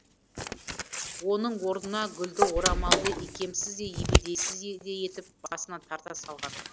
оның орнына гүлді орамалды икемсіз де ебедейсіз етіп басына тарта салған